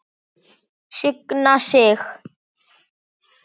Signa sig?